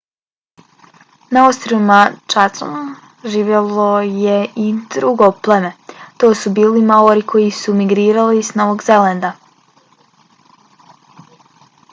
na ostrvima chatham živjelo je i drugo pleme a to su bili maori koji su migrirali s novog zelanda